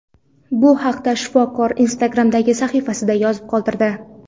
Bu haqda shifokor Instagram’dagi sahifasida yozib qoldirdi .